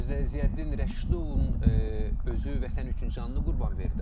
Özdə Ziyəddin Rəşidovun özü vətən üçün canını qurban verdi.